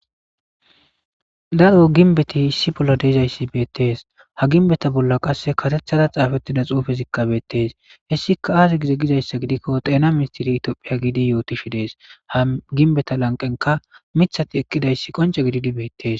Daro gimbeti issi bola dizaysi betes ha gimbeta bola qase karetara xafetiza xufezika betes hesika aze gizaysa gidiko dhena ministere tophiya gidi yotishe de'es ha gimbeta lanqenka mitati eqidaysi qonc'e gididi betes.